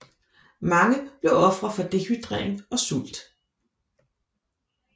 Mange blev ofre for dehydrering og sult